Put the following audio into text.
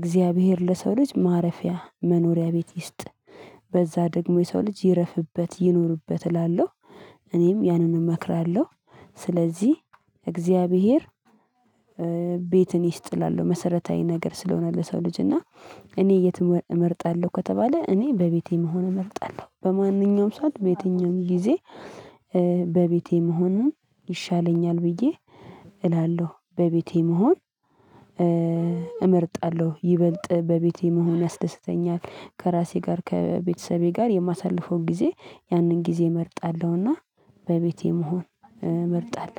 እግዚአብሔር ለሰው ልጅ ማረፊያ መኖሪያ ቤት ይስጥ። በዛ ደግሞ የሰው ልጅ ይረፍበት ይኖርበት እላለሁ። እኔም ያንን እመክራለሁ። ስለዚህ እግዚአብሔር ቤትን ይስጥ እላለሁ መሰረታዊ ነገር ስለሆነ ለሰው ልጅ እና። እኔ የትኛውን እመርጣለሁ ከተባለ እኔ በቤቴ መሆን እመርጣለሁ በማንኛውም ሰዓት በየትኛውም ጊዜ። በቤቴ መሆኑን ይሻለኛል ብዬ እላለሁ። በቤቴ መሆን እመርጣለሁ ይበልጥ በቤቴ መሆን ያስደስተኛል ከራሴ ጋር ከቤተሰቤ ጋር የማሳልፈውን ጊዜ። ያንን ጊዜ እመርጣለሁና በቤቴ መሆን እመርጣለሁ